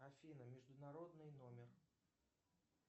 афина международный номер